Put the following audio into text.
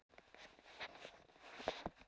Þorkatla, hversu margir dagar fram að næsta fríi?